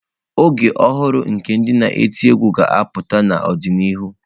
Ọgbọ ọhụrụ nke ndị na eti egwú ga-apụta n'ọdịnihu.